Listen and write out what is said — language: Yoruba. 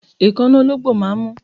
Èékánná ológbò máà ń mú